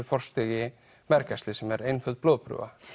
forstigi mergæxlis sem er einföld blóðprufa